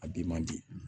A bi man di